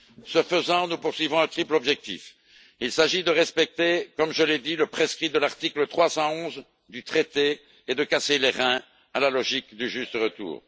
Ce faisant, nous poursuivons un triple objectif il s'agit de respecter comme je l'ai dit le prescrit de l'article 311 du traité et de casser les reins à la logique du juste retour